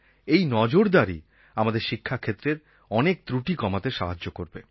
এই নজরদারী আমাদের শিক্ষাক্ষেত্রের অনেক ত্রুটি কমাতে সাহায্য করবে